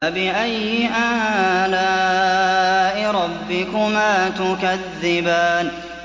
فَبِأَيِّ آلَاءِ رَبِّكُمَا تُكَذِّبَانِ